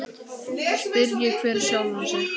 Spyrji hver sjálfan sig.